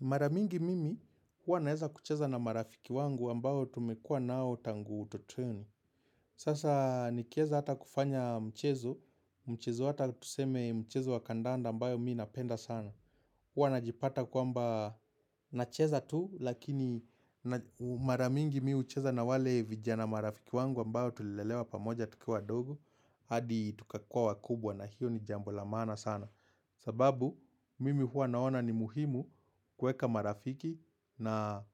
Mara mingi mimi huwa naweza kucheza na marafiki wangu ambao tumekuwa nao tangu utotoni. Sasa nikiweza hata kufanya mchezo, mchezo hata tuseme mchezo wa kandanda ambayo mi napenda sana. Huwa najipata kwamba nacheza tu, lakini mara mingi mi hucheza na wale vijana marafiki wangu ambao tulelewa pamoja tukiwa wadogo, hadi tukakua wakubwa na hiyo ni jambo la maana sana. Sababu mimi huwa naona ni muhimu kuweka marafiki na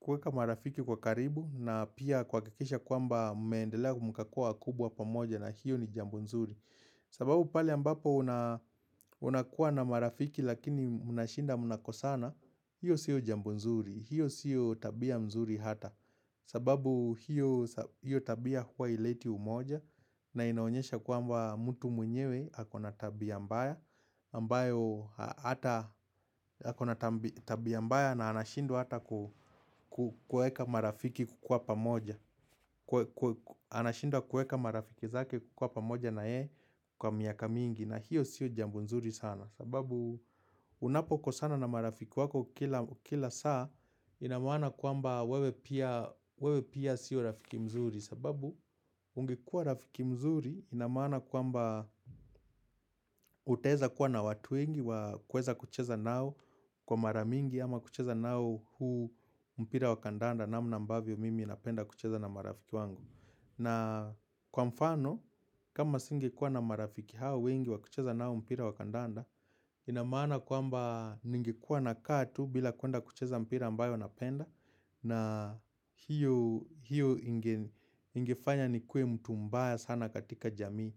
kuweka marafiki kwa karibu na pia kuhakikisha kwamba mumeendelea mkakua wakubwa pamoja na hiyo ni jambo nzuri. Sababu pale ambapo unakuwa na marafiki lakini mnashinda mnakosana. Hiyo siyo jambo nzuri, hiyo siyo tabia mzuri hata sababu hiyo tabia huwa haileti umoja na inaonyesha kwamba mtu mwenyewe ako na tabia mbaya ambayo hata ako na tabia mbaya na anashindwa hata kuweka marafiki kukuwa pamoja anashindwa kuweka marafiki zake kukuwa pamoja na yeye kwa miaka mingi na hiyo sio jambo nzuri sana sababu unapokosana na marafiki wako kila saa inamaana kwamba wewe pia sio rafiki mzuri sababu ungekua rafiki mzuri inamaana kwamba utaweza kuwa na watu wengi wa kuweza kucheza nao kwa mara mingi ama kucheza nao huu mpira wa kandanda namna ambavyo mimi napenda kucheza na marafiki wangu. Na kwa mfano kama singekuwa na marafiki hao wengi wa kucheza nao mpira wa kandanda, inamaana kwamba ningekuwa nakaa tu bila kuenda kucheza mpira ambayo napenda. Na hiyo ingefanya nikuwe mtu mbaya sana katika jamii.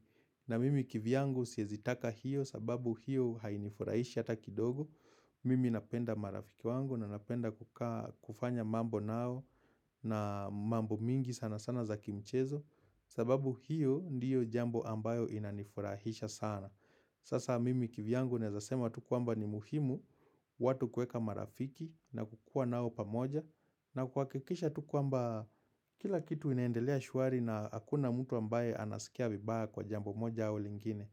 Na mimi kivyangu siwezitaka hiyo sababu hiyo hainifurahishi hata kidogo. Mimi napenda marafiki wangu na napenda kufanya mambo nao. Na mambo mingi sana sana za kimchezo sababu hiyo ndiyo jambo ambayo inanifurahisha sana. Sasa mimi kivyangu nawezasema tu kwamba ni muhimu, watu kuweka marafiki na kukuwa nao pamoja na kuhakikisha tu kwamba kila kitu inaendelea shwari na hakuna mtu ambaye anasikia vibaya kwa jambo moja au lingine.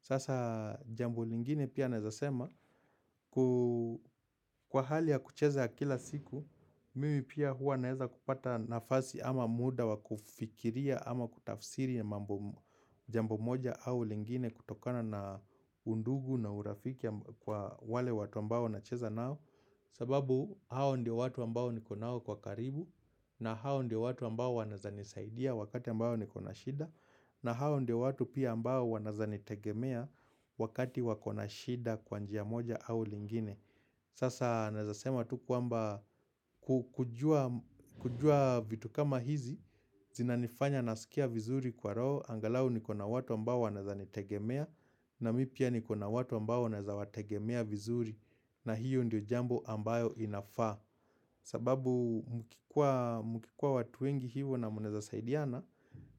Sasa jambo lingine pia naezasema kwa hali ya kucheza kila siku, mimi pia huwa naweza kupata nafasi ama muda wa kufikiria ama kutafsiri mambo jambo moja au lingine kutokana na undugu na urafiki kwa wale watu ambao nacheza nao. Sababu hao ndio watu ambao niko nao kwa karibu. Na hao ndio watu ambao wanawezanisaidia wakati ambao niko na shida na hao ndio watu pia ambao wanawezanitegemea wakati wako na shida kwa njia moja au lingine. Sasa nawezasema tu kwamba kujua vitu kama hizi, zinanifanya nasikia vizuri kwa roho, angalau niko na watu ambao wanawezanitegemea na mi pia niko na watu ambao wanawezawategemea vizuri na hiyo ndio jambo ambayo inafaa. Sababu mkikuwa watu wengi hivyo na munaweza saidiana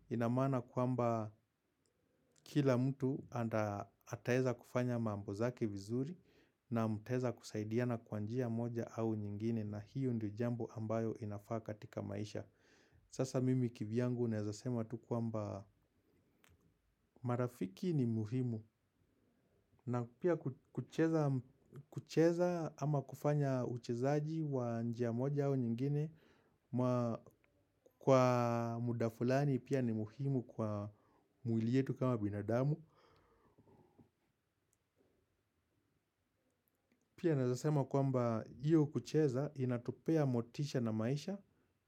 inamaana kwamba kila mtu ataeza kufanya mambo zake vizuri na mutaweza kusaidiana kwa njia moja au nyingine na hiyo ndio jambo ambayo inafaa katika maisha. Sasa mimi kivyangu unaweza sema tu kwamba marafiki ni muhimu na pia kucheza ama kufanya uchezaji wa njia moja au nyingine kwa muda fulani pia ni muhimu kwa mwili yetu kama binadamu pia naezasema kwamba hiyo kucheza inatupea motisha na maisha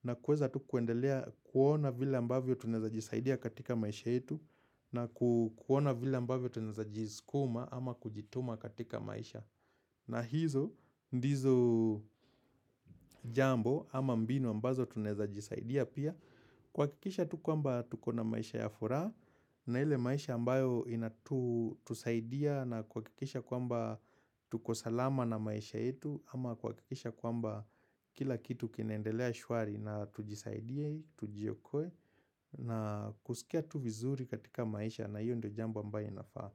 na kuweza tu kuendelea kuona vila ambavyo tunaweza jisaidia katika maisha yetu na kuona vile ambavyo tunawezajiskuma ama kujituma katika maisha na hizo ndizo jambo ama mbinu ambazo tunawezajisaidia pia kuhakikisha tu kwamba tuko na maisha ya furaha na ile maisha ambayo inatusaidia na kuhakikisha kwamba tuko salama na maisha yetu ama kuhakikisha kwamba kila kitu kinaendelea shwari na tujisaidie, tujiokoe na kusikia tu vizuri katika maisha na hiyo ndio jambo ambayo inafaa.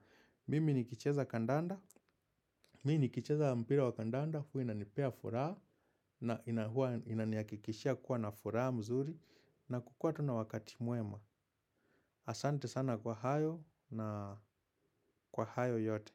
Mimi nikicheza kandanda, mi nikicheza mpira wa kandanda, huwa inanipea furaha, na huwa inanihakikishia kuwa na furaha mzuri, na kukuwa tu na wakati mwema. Asante sana kwa hayo na kwa hayo yote.